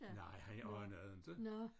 Nej han anede det inte